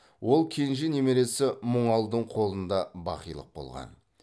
ол кенже немересі мұңалдың қолында бақилық болған